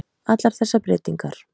allar þessar breytingar.